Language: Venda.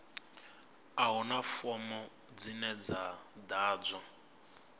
a huna fomo dzine dza ḓadzwa